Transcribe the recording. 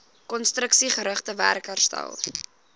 konstruksiegerigte werk herstel